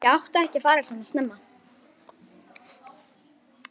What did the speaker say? Ég átti ekki að fara svona snemma.